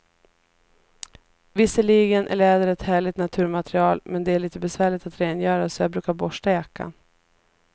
Visserligen är läder ett härligt naturmaterial, men det är lite besvärligt att rengöra, så jag brukar borsta jackan.